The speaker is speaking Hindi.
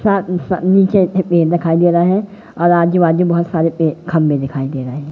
सा सा नीचे से पेड़ दिखाई दे रहा है और आजू बाज़ू बहोत सारे ये खम्भे दिखाई दे रहें--